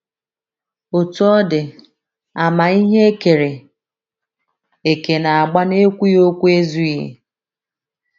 Otú ọ dị, àmà ihe e kere eke na - agba n’ekwughị okwu ezughị.